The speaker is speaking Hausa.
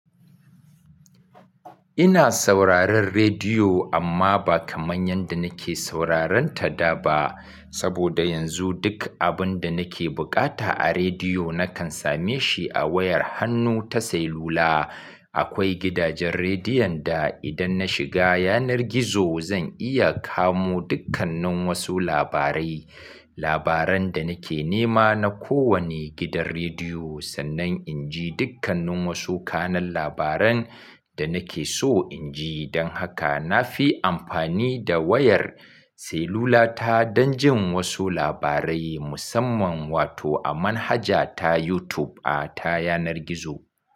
Ina sauraron rediyo amma ba kamar yadda nake sauraron ta da ba. Saboda yanzu duk abin da nake bukata a rediyo nakan same shi a wayar hannu ta sailula. Akwai gidajen rediyon da idan na shiga yanar gizo zan iya kamo dukkannin wasu labarai. Labaran da nake nema na kowane gidan rediyo sannan inji dukkannin wasu kanun labaran da nake so inji. Don haka na fi amfani da wayar sailula ta don jin wasu labarai musamman wato a manhaja ta YouTube a ta yanar gizo.